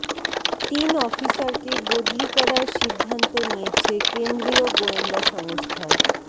তিন অফিসারকে বদলি করার সিদ্ধান্ত নিয়েছে কেন্দ্রীয় গোয়েন্দা সংস্থা